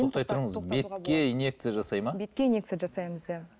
тоқтай тұрыңыз бетке инекция жасайды ма бетке инекция жасаймыз иә